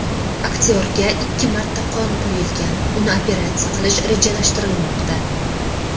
Aktyorga ikki marta qon quyilgan, uni operatsiya qilish rejalashtirilmoqda.